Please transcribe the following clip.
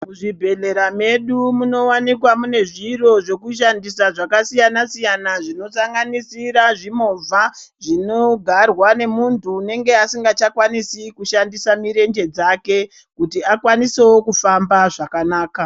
Muzvibhedhlera medu munowanikwa munezviro zvekushandisa zvakasiyana-siyana zvinosanganisira zvimovha zvinogarwa ngemuntu anenge asingachakwanisi kushandisa mirenje dzake kuti akwanisewo kufamba zvakanaka.